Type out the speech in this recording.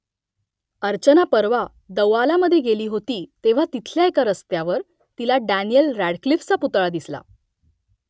अर्चना परवा दौआलामधे गेली होती तेव्हा तिथल्या एका रस्त्यावर तिला डॅनिएल रॅडक्लिफचा पुतळा दिसला